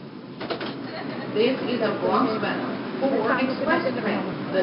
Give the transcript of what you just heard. ਚੱਲ ਕੋਈ ਸਾਨੂੰ ਕਿੰਨਾ ਚਿਰ ਲੱਗਣਾ ਹੁਣ